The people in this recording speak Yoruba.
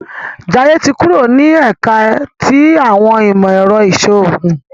Jaiye tí kúrò ni ẹka ti awọn imọ-ẹrọ iṣoogun